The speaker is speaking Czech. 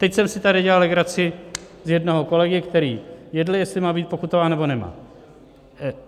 Teď jsem si tady dělal legraci z jednoho kolegy, který jedl, jestli má být pokutován, nebo nemá.